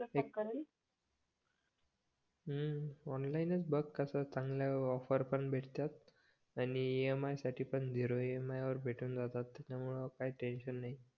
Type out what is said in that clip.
हम्म ऑनलाईनच बघ कस चांगल ऑफर पण भेटतात आणि EMI साठी पण झिरो EMI वर भेटून जातात त्याच्यामुळे काही टेन्शन नाही